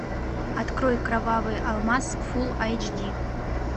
открой кровавый алмаз фулл айч ди